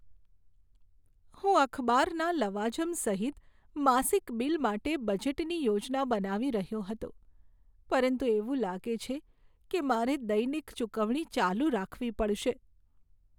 હું અખબારના લવાજમ સહિત માસિક બિલ માટે બજેટની યોજના બનાવી રહ્યો હતો, પરંતુ એવું લાગે છે કે મારે દૈનિક ચુકવણી ચાલુ રાખવી પડશે.